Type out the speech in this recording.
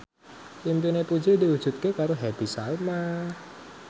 impine Puji diwujudke karo Happy Salma